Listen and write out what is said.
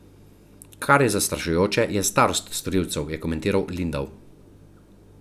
Kar je zastrašujoče, je starost storilcev, je komentiral Lindav.